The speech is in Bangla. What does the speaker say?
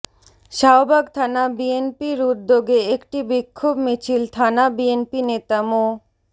শাহবাগ থানা বিএনপির উদ্যোগে একটি বিক্ষোভ মিছিল থানা বিএনপি নেতা মো